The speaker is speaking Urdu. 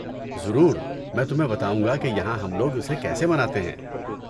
ضرور! میں تمہیں بتاؤں گا کہ یہاں ہم لوگ اسے کیسے مناتے ہیں۔